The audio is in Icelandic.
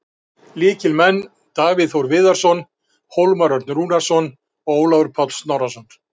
Lykilmenn: Davíð Þór Viðarsson, Hólmar Örn Rúnarsson og Ólafur Páll Snorrason.